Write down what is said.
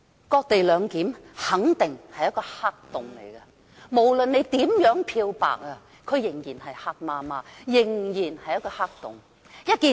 "割地兩檢"肯定是一個黑洞，無論如何漂白，仍然是漆黑一片的黑洞。